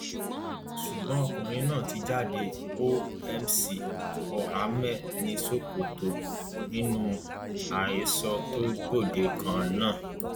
ṣùgbọn ọkùnrin náà ti jáde ó mc olhomme ni kò sóòótọ nínú àhesọ tó gbòde kan náà